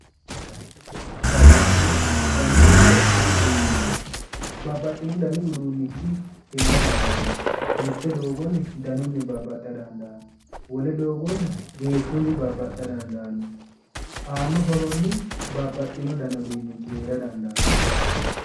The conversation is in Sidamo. Babbaxinno dani uduunicho, babbaxinno dani uduunichi heera dandaano mitte doogonni danunni babbaxa dandaano, wole doogonni geeshunni babbaxa dandaano ,aano horonni babbaxinno danni uduunichi heera dandaano.